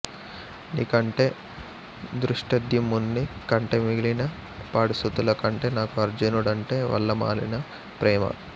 నీ కంటే ధృష్టద్యుమ్నుడి కంటే మిగిలిన పాడుసుతుల కంటే నాకు అర్జునుడంటే వల్లమాలిన ప్రేమ